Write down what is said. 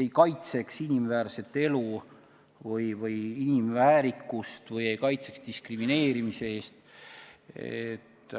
ei kaitseks inimväärset elu või inimväärikust või ei kaitseks diskrimineerimise eest.